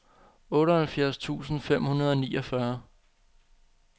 otteoghalvfjerds tusind fem hundrede og niogfyrre